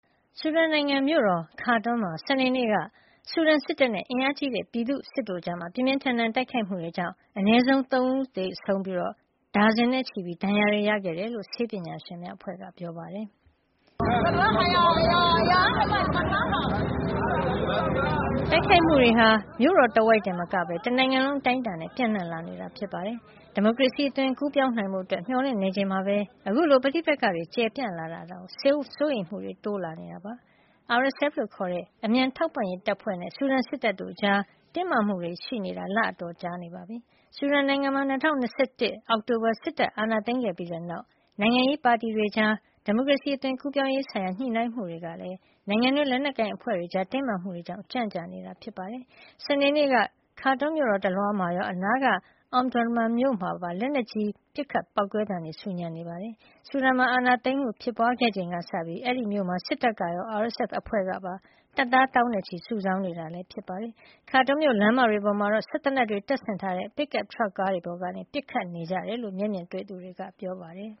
ဆူဒန်နိုင်ငံ မြို့တော် Khartoum မှာ စနေနေ့က အာဏာသိမ်းထားတဲ့ ဆူဒန်စစ်တပ်နဲ့ အင်အားကြီးတဲ့ပြည်သူ့စစ်တို့ကြား ပြင်းပြင်းထန်ထန် တိုက်ခိုက်မှုတွေကြောင့် အနည်းဆုံး ၂၆ ဦး သေဆုံးပြီး ဒါဇင်နဲ့ချီ ဒဏ်ရာရခဲ့တယ်လို့ ဆေးပညာရှင်များအဖွဲ့က ပြောပါတယ်။ တိုက်ခိုက်မှုတွေဟာ မြို့တော်တဝိုက်တင်မကဘဲ တနိုင်ငံလုံးအတိုင်းအတာနဲ့ပြန့်နှံ့လာနေတာဖြစ်ပါတယ်။ ဒီမိုကရေစီအသွင်ကူးပြောင်းနိုင်ဖို့ မျှော်လင့်နေချိန်မှာပဲ အခုလို ပဋိပက္ခတွေကျယ်ကျယ်ပြန့်ပြန့်ဖြစ်လာတာကြောင့် စိုးရိမ်မှုတွေလည်း တိုးလာနေတာပါ။ RSF ခေါ် အမြန်အထောက်ကူပေးရေးတပ်ဖွဲ့နဲ့ ဆူဒန်စစ်တပ်တို့ကြား တင်းမာမှုတွေပေါ်ပေါက်နေတာ လအတော်ကြာနေပြီဖြစ်ပါတယ်။ ဆူဒန်နိုင်ငံမှာ ၂၀၂၁ အောက်တိုဘာလ စစ်တပ်အာဏာသိမ်းခဲ့ပြီးတဲ့နောက် နိုင်ငံရေးပါတီတွေကြား ဒီမိုကရေစီအသွင်ကူးပြောင်းရေးဆိုင်ရာ ညှိနှိုင်းမှုတွေကလည်း နိုင်ငံတွင်း လက်နက်ကိုင်အဖွဲ့တွေကြား တင်းမာမှုတွေကြောင့် ကြန့်ကြာနေတာ ဖြစ်ပါတယ်။ စနေနေ့က Khartoum မြို့တော်တလွှားမှာရော အနားက Omdurman မြို့မှာပါ လက်နက်ကြီးပစ်ခတ်ပေါက်ကွဲသံတွေနဲ့ ဆူညံနေတာပါ။ ဆူဒန်မှာ အာဏာသိမ်းမှုဖြစ်ပွါးခဲ့ချိန်ကစပြီး Omdurman မြို့မှာ စစ်တပ်ကရော RSF ဘက်ကပါ တပ်သားသောင်းနဲ့ချီ စုဆောင်းနေတာဖြစ်ပါတယ်။ Khartoum မြို့လမ်းမတွေပေါ်မှာတော့ စက်သေနတ်တွေဆင်ထားတဲ့ ပစ်ကပ် ထရပ်ကားတွေပေါ်ကနေ ပစ်ခတ်နေကြတယ်လို့ မျက်မြင်တွေ့သူတွေက ပြောပါတယ်